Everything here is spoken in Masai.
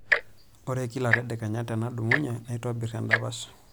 Ore kila tedekenya tenadumunye naitobirr endapash.